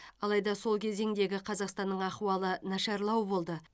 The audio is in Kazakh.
алайда сол кезеңдегі қазақстанның ахуалы нашарлау болды